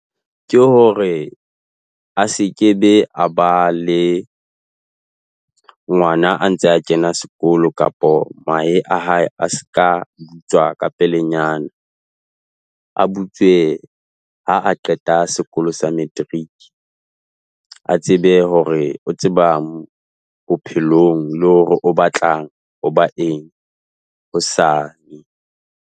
Ke hore a sekebe a ba le ngwana a ntse a kena sekolo kapo mahe a hae a seka butswa ka pelenyana. A butswe ha a qeta sekolo sa matric. A tsebe hore o tsebang bophelong le hore o batlang ho ba eng hosane.